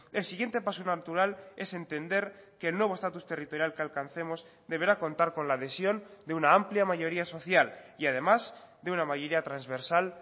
el siguiente paso natural es entender que el nuevo estatus territorial que alcancemos deberá contar con la adhesión de una amplia mayoría social y además de una mayoría transversal